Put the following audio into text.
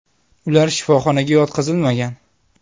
Ular shifoxonaga yotqizilmagan.